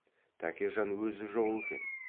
тәкежан өзі жоқ екен